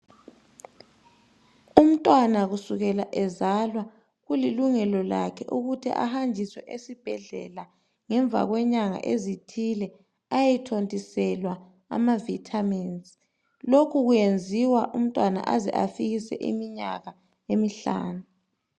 Umntwana kusukela ezalwa kulilungelo lakhe ukuthi ehanjiswe esibhedlela ngemva kwenyanga ezithile ayethontiselwa ama Vitamins. Lokhu kuyenziwa umntwana aze afikise iminyaka emihlanu.